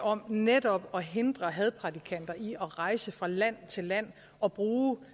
om netop at hindre hadprædikanter i at rejse fra land til land og bruge den